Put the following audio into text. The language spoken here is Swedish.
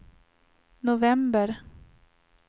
november